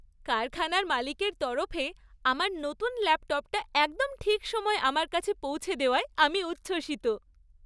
কারখানার মালিকের তরফে আমার নতুন ল্যাপটপটা একদম ঠিক সময়ে আমার কাছে পৌঁছে দেওয়ায় আমি উচ্ছ্বসিত।